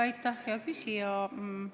Aitäh, hea küsija!